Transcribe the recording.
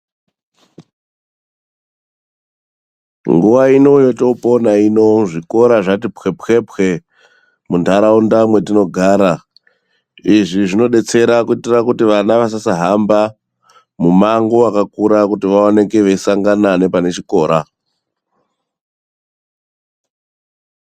Nguwa ino yetoopona ino zvikora zvati pwepwepwe muntaraunda mwetinogara. Izvi zvinobetsera kuitira kuti vana vasasahamba mumango wakakura kuti vaoneke veisangana nepanechikora.